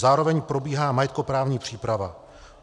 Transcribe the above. Zároveň probíhá majetkoprávní příprava.